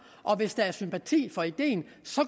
og hvis der er sympati for ideen